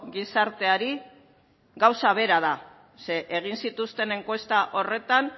gizarteari gauza bera da ze egin zituzten enkuesta horretan